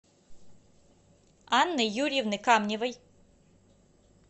анны юрьевны камневой